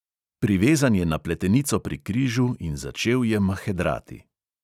Privezan je na pletenico pri križu in začel je mahedrati.